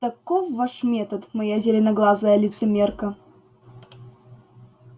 таков ваш метод моя зеленоглазая лицемерка